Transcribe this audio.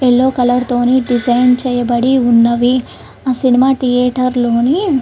yellow colour తోని design చేయబడి ఉన్నవి ఆ సినిమా థియేటర్లోని --